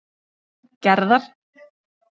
Gerðar